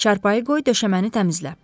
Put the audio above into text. Çarpanı qoy döşəməni təmizlə.